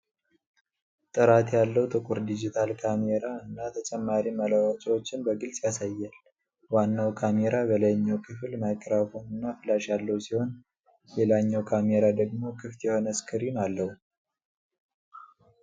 ጥራት ያለው ጥቁር ዲጂታል ካሜራ እና ተጨማሪ መለዋወጫዎችን በግልጽ ያሳያል። ዋናው ካሜራ በላይኛው ክፍል ማይክሮፎን እና ፍላሽ ያለው ሲሆን፤ ሌላኛው ካሜራ ደግሞ ክፍት የሆነ ስክሪን አለው።